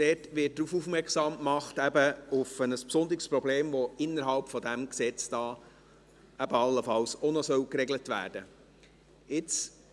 Dort wird auf ein besonderes Problem aufmerksam gemacht, welches innerhalb dieses Gesetzes allenfalls auch noch geregelt werden sollte.